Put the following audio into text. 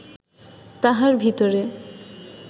তাহার ভিতরে